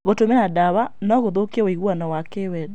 Gũtũmĩra ndawa no gũthũkie ũiguano wa kĩwendo.